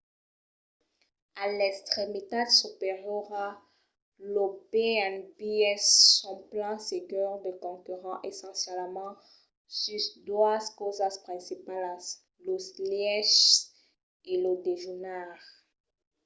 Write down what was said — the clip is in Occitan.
a l'extremitat superiora los b&bs son plan segur de concurrents essencialament sus doas causas principalas: los lièches e lo dejunar